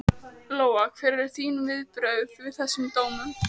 Lóa: Hver eru þín viðbrögð við þessum dómum?